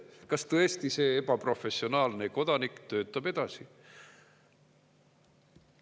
Kas tõesti see ebaprofessionaalne kodanik töötab edasi?